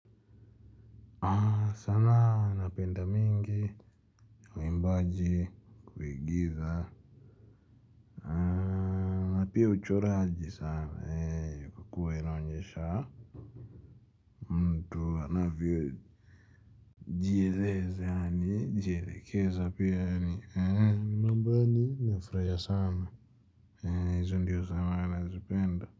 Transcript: Sana napenda mingi waimbaji kuigiza na pia uchoraji sana kwa kua inaonyesha mtu anavyo jieleza yaani jielekeza pia ni mambo yaani nafurahia sana hizi ndiyo sama anazipenda.